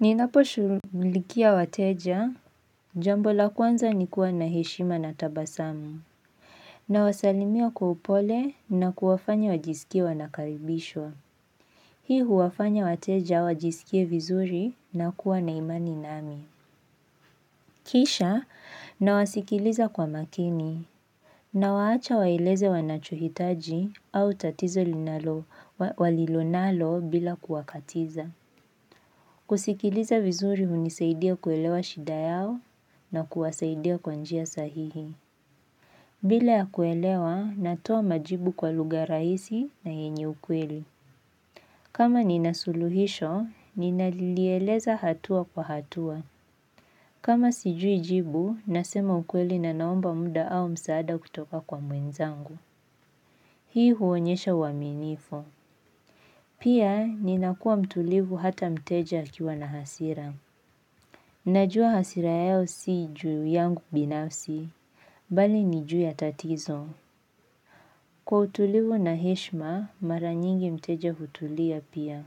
Ninapo shughulikia wateja, jambo la kwanza ni kuwa na heshima na tabasamu, nawasalimia kwa upole na kuwafanya wajisikie wanakaribishwa. Hii huwafanya wateja wajisikie vizuri na kuwa na imani nami. Kisha, nawasikiliza kwa makini, nawaacha waeleze wanachohitaji au tatizo walilo nalo bila kuwakatiza. Kusikiliza vizuri hunisaidia kuelewa shida yao na kuwasaidia kwa njia sahihi bila ya kuelewa, natoa majibu kwa lugha rahisi na yenye ukweli kama nina suluhisho, ninalieleza hatua kwa hatua kama sijui jibu, nasema ukweli na naomba muda au msaada kutoka kwa mwenzangu Hii huonyesha uaminifu Pia, ninakuwa mtulivu hata mteja akiwa na hasira Najua hasira yao si juu yangu binafsi, bali ni juu ya tatizo. Kwa utulivu na heshma, mara nyingi mteja hutulia pia.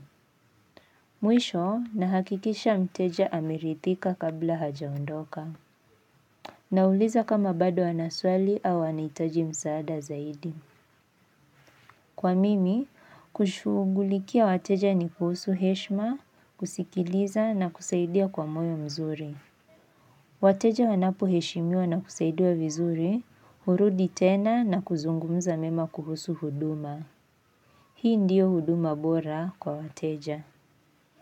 Mwisho na hakikisha mteja ameridhika kabla hajaondoka. Na uliza kama bado ana swali au anahitaji msaada zaidi. Kwa mimi, kushugulikia wateja ni kuhusu heshma, kusikiliza na kusaidia kwa moyo mzuri. Wateja wanapo heshimiwa na kusaidiwa vizuri hurudi tena na kuzungumuza mema kuhusu huduma. Hii ndiyo huduma bora kwa wateja.